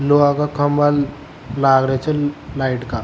लोहा का खम्भा लाग रा जे लाइट का।